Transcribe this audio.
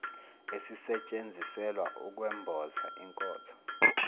esisetshenziselwa ukwemboza inkotho